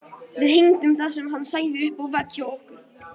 Við hengdum það sem hann sagði upp á vegg hjá okkur.